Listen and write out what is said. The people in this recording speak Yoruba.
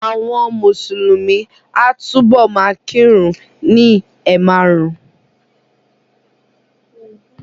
Àwọn Mùsùlùmí a túbọ̀ ma kírun ni ẹ̀ márùn-ún